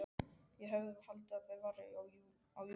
Ég hefði haldið að það væri júlí.